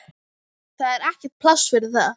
Það er ekkert pláss fyrir það.